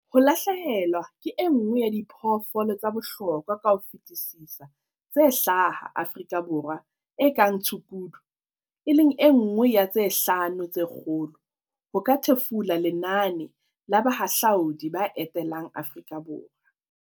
"Ho lahlehelwa ke e nngwe ya diphoofolo tsa bohlokwa ka ho fetisisa tse hlaha Aforika Borwa e kang tshukudu, e leng e nngwe ya tse 'Hlano tse Kgolo' ho ka thefula lenane la bahahlaudi ba etelang Aforika Borwa."